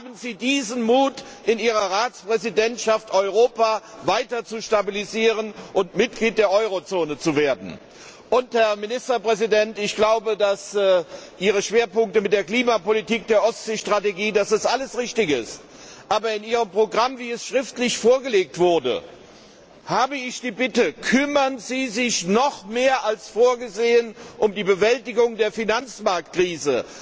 Haben Sie in Ihrer Ratspräsidentschaft den Mut, Europa weiter zu stabilisieren und Mitglied der Eurozone zu werden! Herr Ministerpräsident, ich halte Ihre Schwerpunkte mit der Klimapolitik, der Ostseestrategie für richtig gesetzt, aber was Ihr Programm angeht, wie es schriftlich vorgelegt wurde, habe ich die Bitte Kümmern Sie sich noch mehr als vorgesehen um die Bewältigung der Finanzmarktkrise!